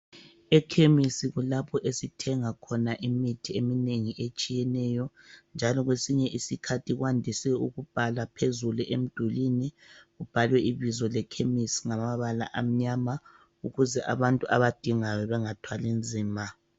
Ekhemisi kulapho esithenga khona imithi eminengi etshiyeneyo, njalo kwesinye isikhathi kwandise ukubhalwa phezulu emdulini. Kubhalwe ibizo le khemisi ngamabala amnyama ukuze abantu abadingayo bengathwali nzima.